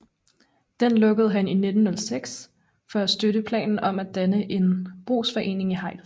Den lukkede han i 1906 for at støtte planen om at danne en brugsforening i Hejls